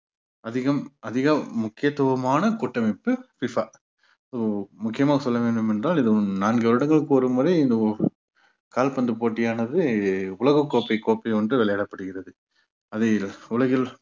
அதிகம் அதிக முக்கியத்துவமான கூட்டமைப்பு FIFA so முக்கியமா சொல்ல வேண்டும் என்றால் இது நான்கு வருடங்களுக்கு ஒருமுறை இந்த கால்பந்து போட்டியானது உலகக் கோப்பை கோப்பை ஒன்று விளையாடப்படுகிறது அதை உலகில்